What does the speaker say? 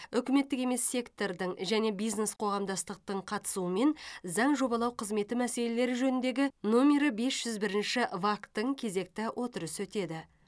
үкіметтік емес сектордың және бизнес қоғамдастықтың қатысуымен заң жобалау қызметі мәселелері жөніндегі номері бес жүз бірінші вак тың кезекті отырысы өтеді